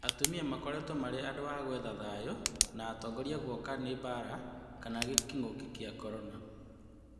Atumia makoretwo marĩ andũ a gũetha thayũ na atongoria gũoka nĩ mbara kana kĩng'ũki gĩa Korona.